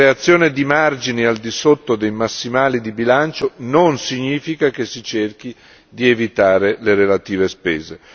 La creazione di margini al di sotto dei massimali di bilancio non significa che si cerchi di evitare le relative spese.